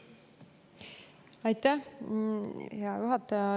Aitäh, hea juhataja!